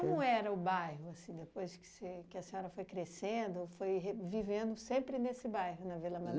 Como era o bairro, assim, depois que você que a senhora foi crescendo, foi re vivendo sempre nesse bairro, na Vila